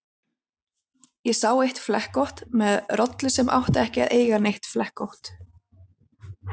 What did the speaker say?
Ég sá eitt flekkótt með rollu sem átti ekki að eiga neitt flekkótt.